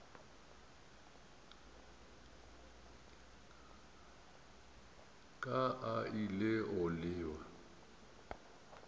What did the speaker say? ka a ile go lewa